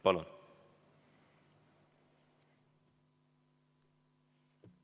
Palun!